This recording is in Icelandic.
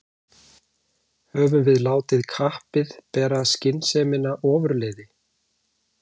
Höfum við látið kappið bera skynsemina ofurliði?